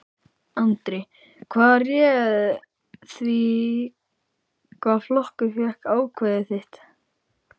Andri: Hvað réð því hvaða flokkur fékk atkvæði þitt?